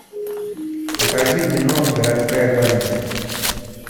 покажи кино городская полиция